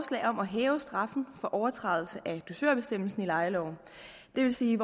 om at hæve straffen for overtrædelse af dusørbestemmelsen i lejeloven det vil sige